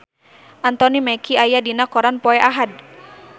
Anthony Mackie aya dina koran poe Ahad